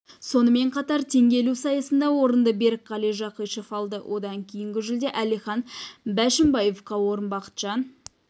сонымен қатар теңге ілу сайысында орынды берікқали жақишев алды одан кейінгі жүлде әлихан бәшімбаевқа орын бақытжан